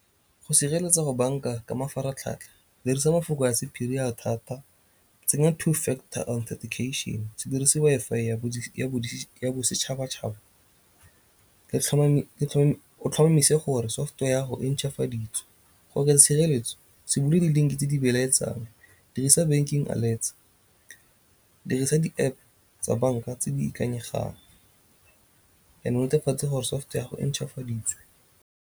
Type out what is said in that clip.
Go sireletsa go banka ka mafaratlhatlha, dirisa mafoko a sephiri a thata, tsenya two factor authentication, se dirisi Wi-Fi ya bosetšhabatšhaba o tlhomamise gore software yago e ntšhafaditswe. Go oketsa tshireletso se bule di-link tse di belaetsang, dirisa banking alerts, dirisa di-App tsa banka tse di ikanyegang and o netefatse gore software yago e ntšhafaditswe.